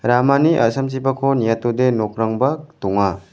ramani a·samchipakko niatode nokrangba donga.